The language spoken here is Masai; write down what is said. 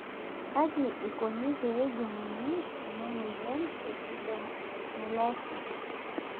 Kaji ikoni pee ejung'uni ena amoyian e epidermolysis?